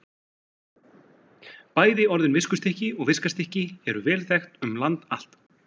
Bæði orðin viskustykki og viskastykki eru vel þekkt um land allt.